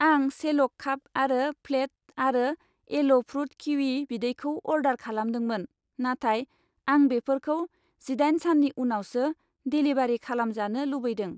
आं सेल' काप आरो प्लेट आरो एल' फ्रुट किवि बिदैखौ अर्डार खालामदोंमोन, नाथाय आं बेफोरखौ जिदाइन साननि उनावसो डेलिभारि खालामजानो लुबैदों।